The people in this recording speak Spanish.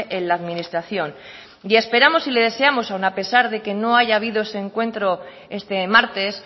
en la administración y esperamos y lo deseamos aún a pesar de que no haya habido ese encuentro este martes